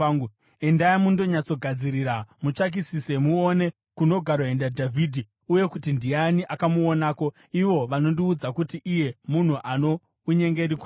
Endai mundonyatsogadzirira. Mutsvakisise muone kunogaroenda Dhavhidhi uye kuti ndiani akamuonako. Ivo vanondiudza kuti iye munhu ano unyengeri kwazvo.